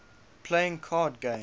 playing card games